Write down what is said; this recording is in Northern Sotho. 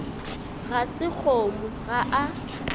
ga se kgomo ga a